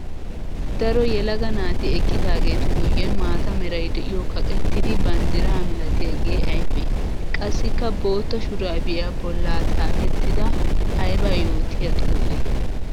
Daro yelaga naati eqqidaagetu guyen maata meray de'iyo kaqqettiddi banddira milattiyaage aybbe? Qassikka bootta shurabbiya bolla xaafettidda aybba yootiya xuufe?